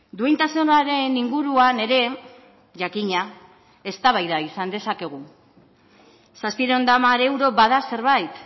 duintasunaren inguruan ere jakina eztabaida izan dezakegu zazpiehun eta hamar euro bada zerbait